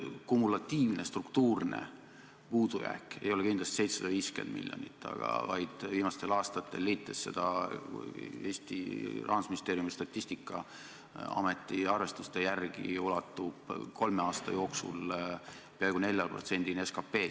Kumulatiivne struktuurne puudujääk ei ole kindlasti 750 miljonit, vaid Eesti Rahandusministeeriumi, Statistikaameti arvestuste järgi ulatub see kolme aasta jooksul peaaegu 4%-ni SKP-st.